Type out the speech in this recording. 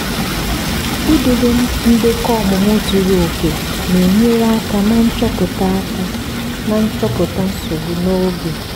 idobe ndekọ ọmụmụ zuru oke na-enyere aka na nchọpụta aka na nchọpụta nsogbu n'oge.